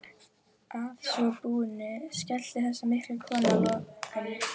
Að svo búnu skellti þessi mikla kona lokunni.